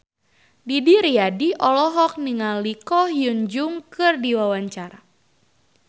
Didi Riyadi olohok ningali Ko Hyun Jung keur diwawancara